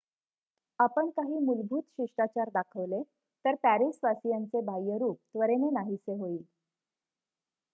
आपण काही मूलभूत शिष्टाचार दाखवले तर पॅरिसवासियांचे बाह्य रुप त्वरेने नाहीसे होईल